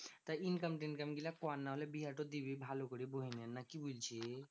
তা income তিনকাম গুলো কর নাহলে বিহাটো দিবি ভালো করে বহিনের না কি বলছিস?